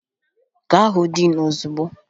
Ga hụ diin ozugbo!